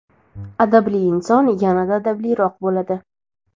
adabli inson yanada adabliroq bo‘ladi.